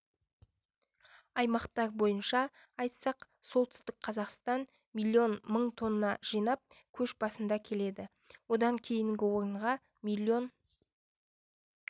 аймақтар бойынша айтсақ солтүстік қазақстан млн мың тонна жинап көш басында келеді одан кейінгі орынға млн